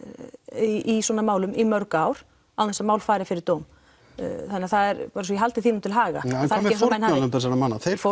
í svona málum í mörg ár án þess mál fari fyrir dóm svo ég haldi því nú til haga en hvað með fórnarlömb þessara manna þau